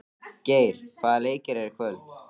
Geir, hvaða leikir eru í kvöld?